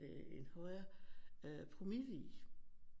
Øh en højre promille i